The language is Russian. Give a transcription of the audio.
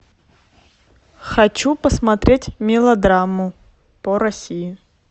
хочу посмотреть мелодраму по россии